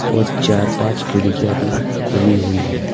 और चार पांच खिड़कियां भी खुली हुई हैं।